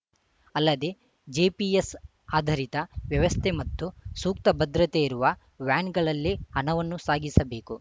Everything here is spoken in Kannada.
ಅಲ್ಲದೆ ಜೆಪಿಎಸ್‌ ಆಧಾರಿತ ವ್ಯವಸ್ಥೆ ಮತ್ತು ಸೂಕ್ತ ಭದ್ರತೆ ಇರುವ ವ್ಯಾನ್‌ಗಳಲ್ಲೇ ಹಣವನ್ನು ಸಾಗಿಸಬೇಕು